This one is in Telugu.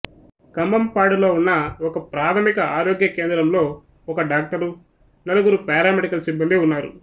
కంభంపాడులో ఉన్న ఒకప్రాథమిక ఆరోగ్య కేంద్రంలోఒక డాక్టరు నలుగురు పారామెడికల్ సిబ్బందీ ఉన్నారు